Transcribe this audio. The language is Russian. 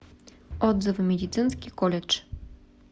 отзывы медицинский колледж